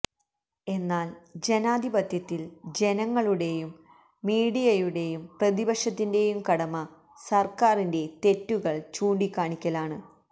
എന്നാൽ ജനാധിപത്യത്തിൽ ജനങ്ങളുടേയും മീഡിയയുടേയും പ്രതിപക്ഷത്തിന്റേയും കടമ സർക്കാറിന്റെ തെറ്റുകൾ ചൂണ്ടിക്കാണിക്കലാണ്